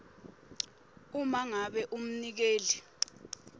uma ngabe umnikeli